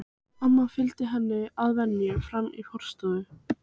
Amma fylgir henni að venju fram í forstofu.